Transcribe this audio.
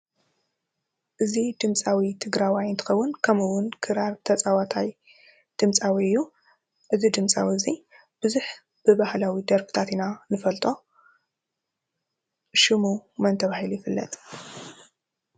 እዚ ድምፃዊ ትግረዋይ እንትከውን ከምኡ እውን ክራር ተፃዋታይ ድምፃዊ እዩ። እዚ ድምፃዊ እዚ ብዙሕ ብባህላዊ ደርፍታት ኢና ንፈልጦ ።ሽሙ መን ተባሂሉ ይፍለጥ?